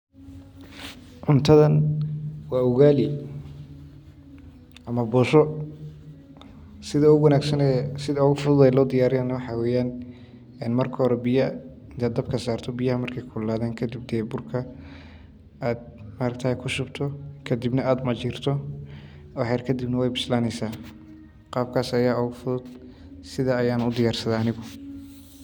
Cuntadan wa ugali ama bosho sida ogufudud ee lohagajiyo waxa waye in ad biyaha dabka sari markey kululadan ad burka kushubta kadibna wad walaqi wax yar kadib wey bislaeyna qabkas aya ogufudud oo lokariya.